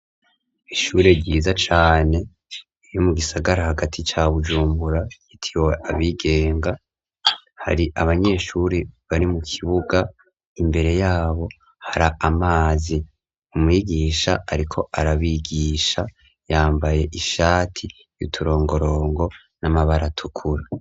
Ishure ryiza cane ryo mu gisagara hagati ca Bujumbura ryitiriwe abigenga, hari abanyeshure bari mu kibuga, imbere y'abo hari amazi. Umwigisha ariko arabigisha, yambaye ishati y'uturongorongo n'amabara atukura.